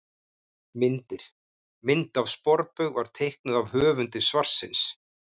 Myndir: Mynd af sporbaug var teiknuð af höfundi svarsins.